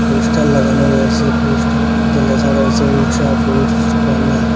Poster লাগানো রয়েসে পোস্টারের মধ্যে লেখা রয়েসে ঊষা ফুডস কর্নার ।